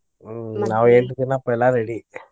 ಹ್ಮ್ ನಾವ್ ಎಂಟ ದಿನಾ पहला ready .